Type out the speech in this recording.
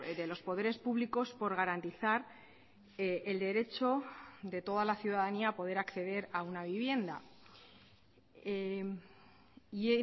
de los poderes públicos por garantizar el derecho de toda la ciudadanía a poder acceder a una vivienda y